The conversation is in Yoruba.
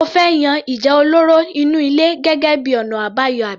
O fẹ́ yan ìjà olóró inú ilé gẹ́gẹ́ bíi ọ̀nà àbáyọ àbí?